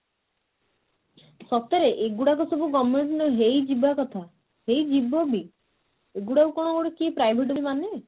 ସତରେ ଏଗୁଡାକ ସବୁ government ହେଇଯିବା କଥା ହେଇଯିବ ବି ଏଗୁଡାକୁ କଣ ଗୋଟେ କିଏ private ବୋଲି ମାନେ